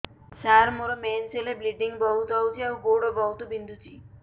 ସାର ମୋର ମେନ୍ସେସ ହେଲେ ବ୍ଲିଡ଼ିଙ୍ଗ ବହୁତ ହଉଚି ଆଉ ଗୋଡ ବହୁତ ବିନ୍ଧୁଚି